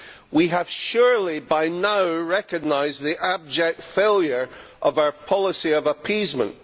We have surely by now recognised the abject failure of our policy of appeasement.